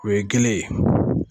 U ye kelen ye